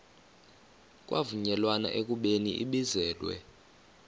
kwavunyelwana ekubeni ibizelwe